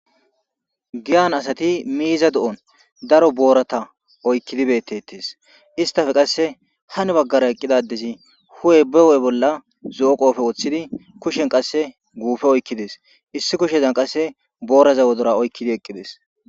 Giyan asti miiza do"on daro boorata oykid beetesi, istappe qase hanibagara eqida adezi hu'e be hu'e bolla zo'o qope wothidi kushen qase guupe oykidesi, issi kushezani qase boorazaska wodora oykidi eqidesi.